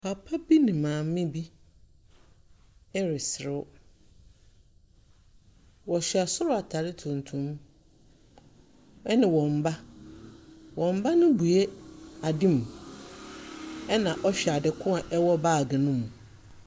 Papa bi ne maame bi ereserew, wɔhyɛ sor ataare tuntum ne wɔn ba. Wɔn ba no rebue ade mu, na ɔhwɛ ade ko a ɛwɔ baage ne mu.